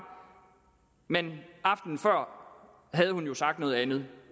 men aftenen før havde hun jo sagt noget andet